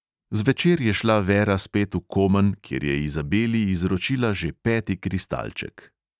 Zvečer je šla vera spet v komen, kjer je izabeli izročila že peti kristalček.